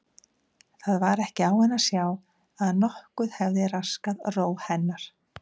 Það var ekki á henni að sjá að nokkuð hefði raskað ró hennar.